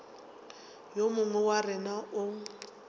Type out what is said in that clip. yo mongwe wa rena o